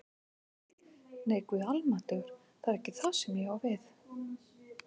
Nei, Guð almáttugur, það er ekki það sem ég á við